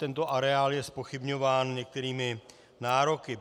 Tento areál je zpochybňován některými nároky.